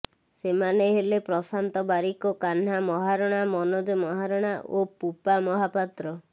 ସେମାନେ ହେଲେ ପ୍ରଶାନ୍ତ ବାରିକ କାହ୍ନା ମହାରଣା ମନୋଜ ମହାରଣା ଓ ପୁପା ମହାପାତ୍ର